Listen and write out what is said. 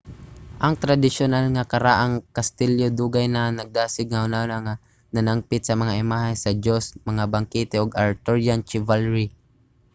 ang tradisyonal nga karaang kastilyo dugay na nagdasig sa hunahuna nga nanangpit sa mga imahe sa joust mga bangkete ug arthurian chivalry